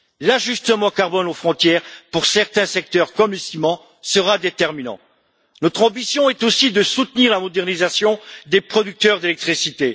L'ajustement carbone aux frontières pour certains secteurs comme le ciment sera déterminant. Notre ambition est aussi de soutenir la modernisation des producteurs d'électricité.